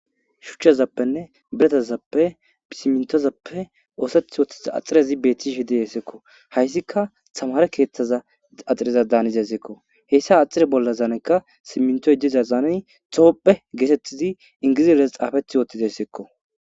shuchchazappenne biratazappe isimintozappe ooseth woththiza axirezi beethtishe hide yeesseekko hayssikka tamare keeththaza axireza daaniza sekko heyssa axire bolla zaanekka simintoy dizazaaney xoopphe geetettizi ingiziles xaafeth wooththiza essekko